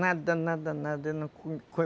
Nada, nada, nada.